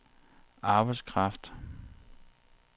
arbejdskraft